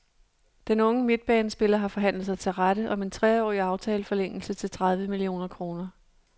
Den unge midtbanespiller har forhandlet sig til rette om en treårig aftaleforlængelse til tredive millioner kroner.